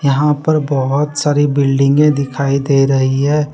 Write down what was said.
यहां पर बहुत सारी बिल्डिंगें दिखाई दे रही है।